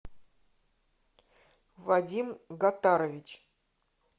вадим гатарович